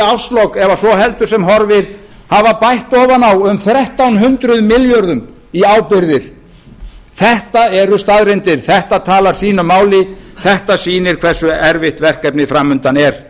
árslok ef svo heldur sem horfir hafa bætt ofan á um þrettán hundruð milljörðum í ábyrgðir þetta eru staðreyndir þetta talar sínu máli þetta sýnir hversu erfitt verkefnið fram undan er